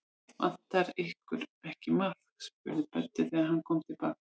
Vantar ykkur ekki maðk? spurði Böddi, þegar hann kom til baka.